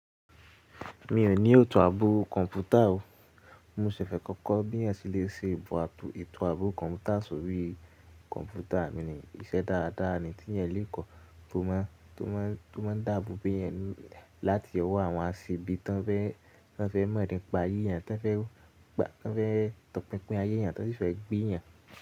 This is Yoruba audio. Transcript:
Mi ò ní eto àbọ̀ kọ̀ǹpútà o. Mo ṣẹ̀ fẹ̀ kọ́kọ́ bí ẹ́ sì le ṣe etò àbo, àbọ̀ kọ̀ǹpútà sórí kọ̀ǹpútà mi ní. Ìṣẹ́ dáadáa ni tí ènìyàn lè kọ́ tó máa, tó máa, tó máa dàbọ̀ bí ènìyàn láti ọwọ́ àwọn aṣẹ̀bí tó ń fẹ́, tó ń fẹ́ mọ̀ọ́di pa eeyàn, tó ń fẹ́ pa, tó ń fẹ́ tọpinpin ayéyàn, tó sì fẹ́ gbéyàn.